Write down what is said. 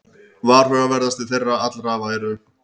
Varhugaverðastir þeirra allra væru